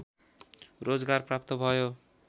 रोजगार प्राप्त भयो